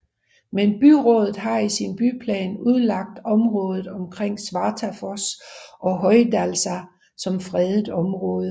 Men byrådet har i sin byplan udlagt området omkring Svartafoss og Hoydalsá som fredet område